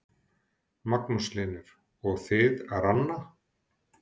Magnús Hlynur: Og þið, Ranna?